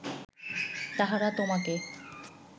তাহারা তোমাকে